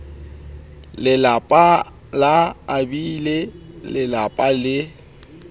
lelapa la abiele lelapa le